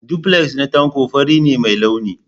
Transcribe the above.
Duplex na Tanko fari ne mai launi.